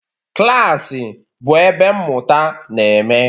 Klas bụ ebe mmụta na-eme.